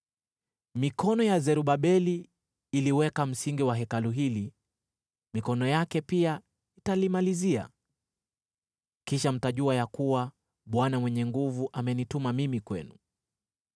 “Mikono ya Zerubabeli iliweka msingi wa Hekalu hili, mikono yake pia italimalizia. Kisha mtajua ya kuwa Bwana Mwenye Nguvu Zote amenituma mimi kwenu.